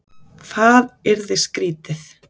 Það yrði skrýtið!